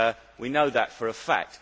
We know that for a fact.